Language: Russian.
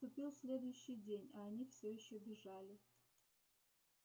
наступил следующий день а они всё ещё бежали